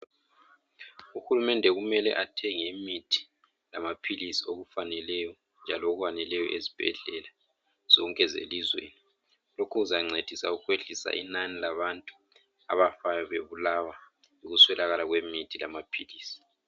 Uhulumende kumele athenge imithi lamaphilisi okufaneleyo njalo okwaneleyo ezibhedlela zonke zelizwe lokhu kuzancedisa ukwehlisa inani labantu abafayo bebulawa yikuswelakala kwemithi lamaphilisi.